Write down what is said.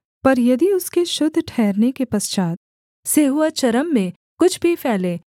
पर यदि उसके शुद्ध ठहरने के पश्चात् सेंहुआ चर्म में कुछ भी फैले